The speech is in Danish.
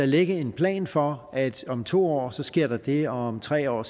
lægge en plan for at om to år sker der det her og om tre år